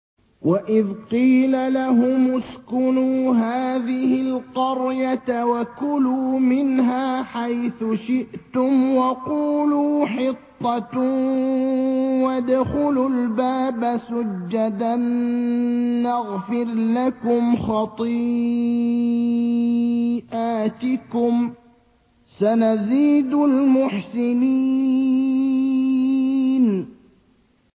وَإِذْ قِيلَ لَهُمُ اسْكُنُوا هَٰذِهِ الْقَرْيَةَ وَكُلُوا مِنْهَا حَيْثُ شِئْتُمْ وَقُولُوا حِطَّةٌ وَادْخُلُوا الْبَابَ سُجَّدًا نَّغْفِرْ لَكُمْ خَطِيئَاتِكُمْ ۚ سَنَزِيدُ الْمُحْسِنِينَ